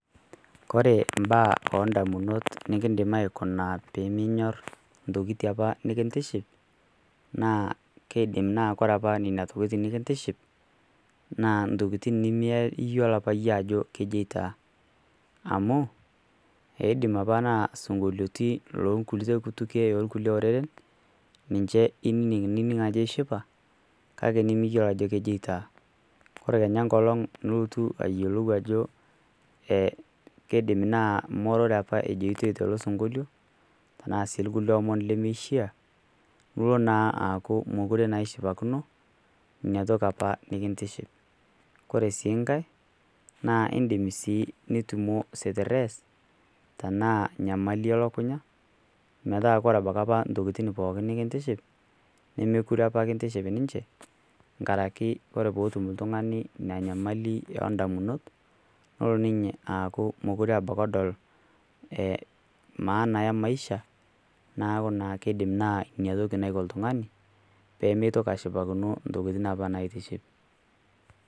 kore mbaa oo ndamunot nikindim aikuna piiminyor ntokitii apaa nikintiship naa keidip naa kore apaa nenia tokitii apa nikintiship naa ntokitin nimi iyieloo apa yie ajo kejoitwa amu eidim apaa naa sinkoliotii lenkulie kutukwee ee lkulie oreren ninshe inining nining ake ishipa kake nimiyeo ajo kejoitwaa kore kenyaa nkolong niltuu ayolou ajo ee keidim naa ngoore apa ejoitoi tolo sinkolio tanaa sii lkulie omon lemeishia nulo naa aaku mokure naa ishipakino inia toki apa nikintiship kore sii nghai naa indim sii nitumo stirees tanaa nyamali e lakunya metaa kore abaki apa ntokitin pooki apa nikintiship nomokure apa kintiship ninshe ngarakee kore peetum ltungani inia nyamali yoo ndamunot nolo ninye aaku mokure abaki edol e maana e maisha naaku naa keidim naa inia toki naiko ltungani pemeitoki ashipakino ntokitin apa natiship